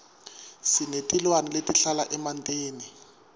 sinetilwane letihlala emantini